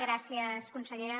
gràcies consellera